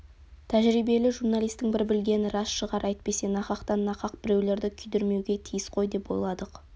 тәжірбиелі журналисттің бір білгені рас шығар әйтпесе нақақтан нақақ біреулерді күйдірмеуге тиіс қой деп ойладық